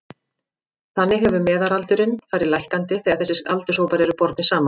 Þannig hefur meðalaldurinn farið lækkandi þegar þessir aldurshópar eru bornir saman.